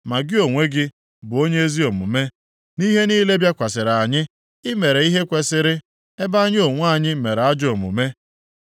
Ma gị onwe gị bụ onye ezi omume, nʼihe niile bịakwasịrị anyị; Ị mere ihe kwesiri, ebe anyị onwe anyị mere ajọ omume.